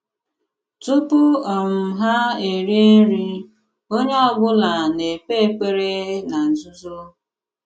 Tùpù um ha rìè nri, onye ọ̀bùla na-ekpè ekpèrè ná nzùzò.